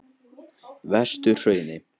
Vesturhrauni